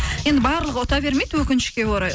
енді барлығы ұта бермейді өкінішке орай